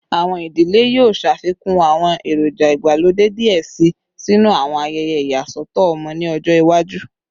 Awọn idile yoo ṣafikun awọn eroja igbalode diẹ sii sinu awọn ayẹyẹ iyasọtọ ọmọ ni ọjọ iwaju